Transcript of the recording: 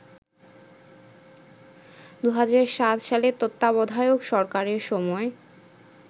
২০০৭ সালে তত্ত্বাবধায়ক সরকারের সময়